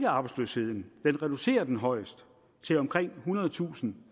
arbejdsløsheden den reducerer den højst til omkring ethundredetusind